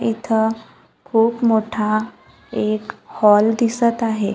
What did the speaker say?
इथं खूप मोठा एक हॉल दिसत आहे.